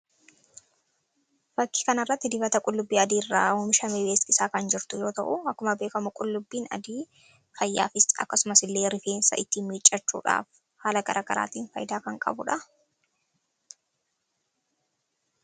Fakkii kana irratti dibata qullubbii adiirraa oomishame beeksisaa kan jirtu yoo ta'uu, akkuma beekamu qullubbiin adii fayyaafis akkasuma illee rifeensa ittiin miiccachuudhaaf haala garaagaraatiin faayidaa kan qabu dha.